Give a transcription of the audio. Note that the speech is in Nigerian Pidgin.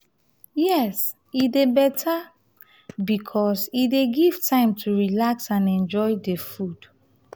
yes e dey beta because e dey give time to relax and enjoy food.